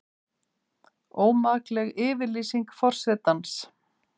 Ómakleg yfirlýsing forsetans